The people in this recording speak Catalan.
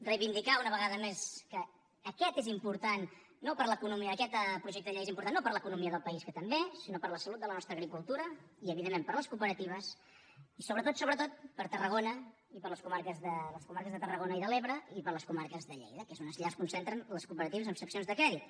reivindicar una vegada més que aquest és important no per a l’economia aquest projecte de llei és important no per a l’economia del país que també sinó per a la salut de la nostra agricultura i evidentment per a les cooperatives i sobretot sobretot per a tarragona i les comarques de tarragona i de l’ebre i per a les comarques de lleida que és allà on es concentren les cooperatives amb seccions de crèdit